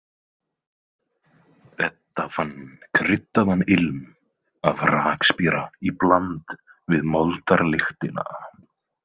Edda fann kryddaðan ilm af rakspíra í bland við moldarlyktina.